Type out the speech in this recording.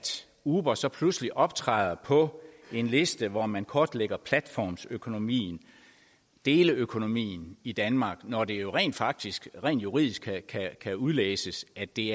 uber så pludselig optræder på en liste hvor man kortlægger platformsøkonomien deleøkonomien i danmark når det jo rent faktisk juridisk kan udlæses at det